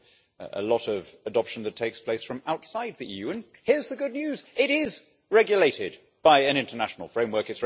There is a lot of adoption that takes place from outside the EU. And here's the good news it regulated by an international framework